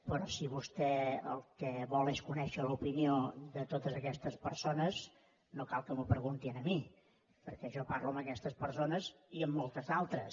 però si vostè el que vol és conèixer l’opinió de totes aquestes persones no cal que m’ho pregunti a mi perquè jo parlo amb aquestes persones i amb moltes d’altres